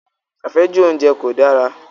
Àfẹ́jù oúnjẹ kò dára.